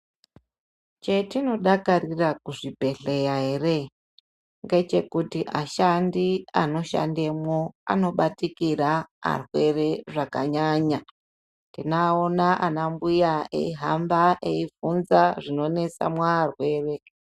Chetinodakarira kuzvibhedhlera ere ngechekuti ashandi anoshandamwo anobatikira arwere zvakanyanya. Tinoaona anambuya eihamba eibvunza zvinonesa muarwere.